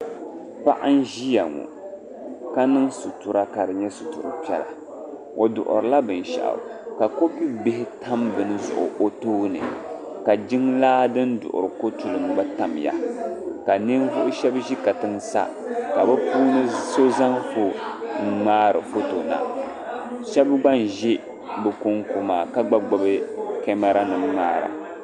paɣa n-ʒiya ŋɔ ka niŋ sutura ka di nyɛ sutur' piɛla o duɣiri la binshɛɣu ka koopu bihi tam bini zuɣu o tooni ka jiŋlaa din duɣiri ko' tulim gba tamya ka ninvuɣ' shɛba ʒi katiŋa sa ka bɛ puuni so zaŋ foon n-ŋmaari foto na shɛba gba n-ʒi bɛ kɔŋko maa ka gba gbubi kemara nima ŋmaara.